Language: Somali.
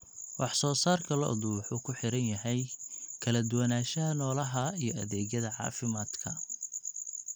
Wax soo saarka lo'du wuxuu ku xiran yahay kala duwanaanshaha noolaha iyo adeegyada caafimaadka.